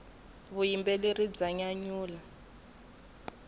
vuyimbeleri bya nyanyula